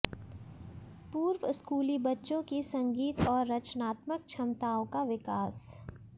पूर्वस्कूली बच्चों की संगीत और रचनात्मक क्षमताओं का विकास